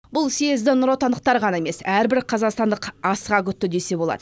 бұл съезді нұротындықтар ғана емес әрбір қазақстандық асыға күтті десе болады